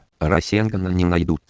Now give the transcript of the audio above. расценка на него